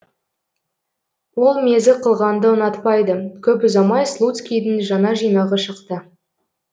ол мезі қылғанды ұнатпайды көп ұзамай слуцкийдің жаңа жинағы шықты